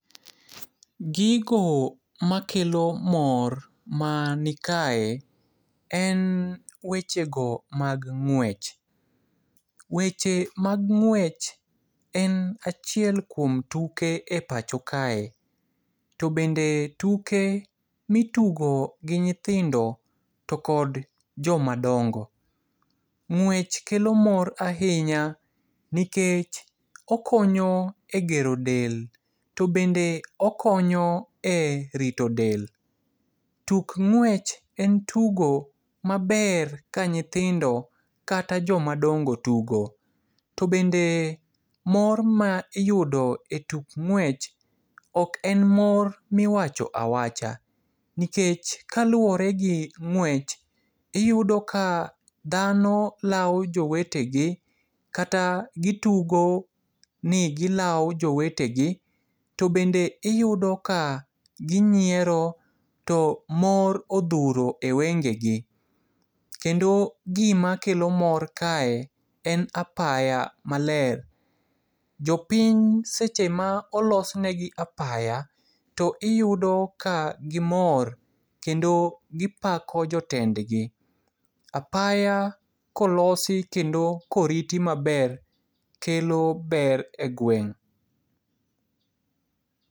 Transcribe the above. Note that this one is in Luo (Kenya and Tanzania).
Gigo makelo mor manikae, en wechego mag ng'wech. Weche mag ng'wech en achiel kuom tuke e pacho kae. To bende tuke mitugo gi nyithindo, to kod jomadongo. Ng'wech kelo mor ahinya, nikech okonyo e gero del. To bende okonyo e rito del. Tuk ng'wech en tugo maber ka nyithindo kata jomadongo tugo. To bende mor ma iyudo e tuk ng'wech oken mor miwacho awacha, nikech kaluore gi ng'wech, iyudo ka dhano lao jowetegi kata gitugo ni gilao jowetegi. To bende iyudo ka ginyiero, to mor odhuro e wengegi. Kendo gima kelo mor kae en apaya maler. Jopiny sechema olosnegi apaya, to iyudo ka gimor kendo gipako jotendgi. Apaya kolosi kendo koriti maber kelo ber e gweng'.